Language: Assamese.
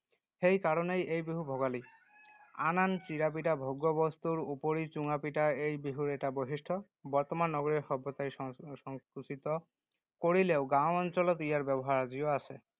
সেই কাৰণেই এই বিহু ভোগালী ৷ আন আন চিৰা পিঠা ভোগ্য বস্তুৰ উপৰি চুঙা পিঠা এই বিহুৰ এটা বৈশিষ্ট্য। বৰ্তমান নগৰীয়া সভ্যতাই সংকুচি, সংকুচিত কৰিলেও গাঁও অঞ্চলত ইয়াৰ ব্যৱহাৰ আজিও আছে।